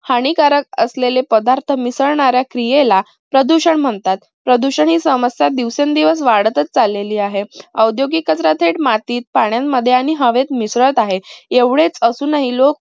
हानिकारक असलेले पदार्थ मिसळणाऱ्या क्रियेला प्रदूषण म्हणतात. प्रदूषण ही समस्या दिवसेंदिवस वाढच चाललेली आहे. औद्योगिक कचरा थेट मातीत, पाण्यांमध्ये आणि हवेत मिसळत आहेत. एवढेच असूनही लोक